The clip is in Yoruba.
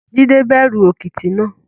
Jídẹ bẹ̀rù òkìtì náà